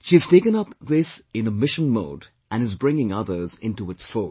She has taken up this in a mission mode and is bringing others into its fold